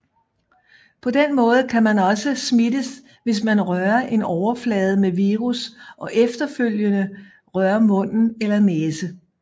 På den måde kan man også smittes hvis man rører en overflade med virus og efterfølgende rører mund eller næse